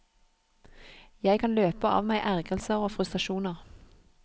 Jeg kan løpe av meg ergrelser og frustrasjoner.